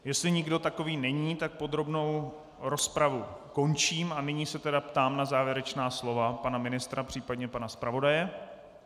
Jestli nikdo takový není, tak podrobnou rozpravu končím a nyní se tedy ptám na závěrečná slova pana ministra, případně pana zpravodaje.